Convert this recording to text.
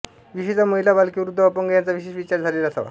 विशेषतः महिला बालके वृध्द व अपंग यांचा विशेष विचार झालेला असावा